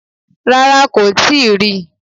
Rárá, kò tíì rí i